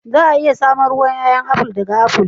Za a iya samun ruwan ƴaƴa aful ɗaga aful.